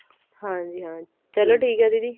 ਹਾਂਜੀ ਹਾਂ ਚਲੋ ਠੀਕ ਹੈ ਦੀਦੀ